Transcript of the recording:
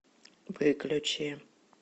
выключи